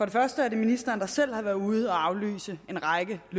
ministeren selv der har været ude at aflyse en række af